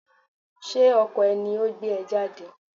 Ṣé ọkọ ẹ ni o gbé ẹ jáde?